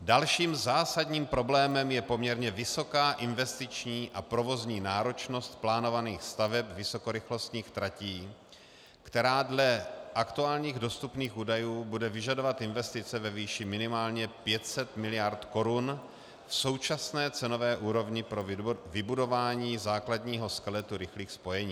Dalším zásadním problémem je poměrně vysoká investiční a provozní náročnost plánovaných staveb vysokorychlostních tratí, která dle aktuálních dostupných údajů bude vyžadovat investice ve výši minimálně 500 mld. korun v současné cenové úrovni pro vybudování základního skeletu rychlých spojení.